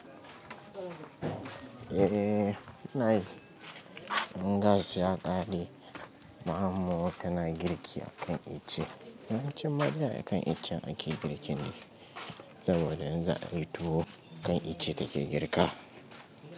Eh, ina yi. Gas ya ƙare, ma'amawa tana girki a kan ice. Na ce mata yaya kan ice ake girki ne, saboda in za a yi tuwo kan ice take girka.